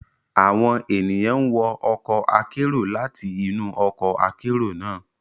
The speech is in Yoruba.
Awọn ènìyàn n wọ ọkọ akero lati inu ọkọ akero naa